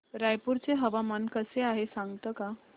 रायपूर चे हवामान कसे आहे सांगता का